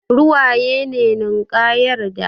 Ruwaye ne ninkayar da